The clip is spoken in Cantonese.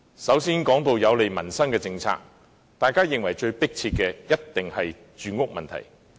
首先，在有利民生的政策方面，大家認為最迫切的一定是住屋問題。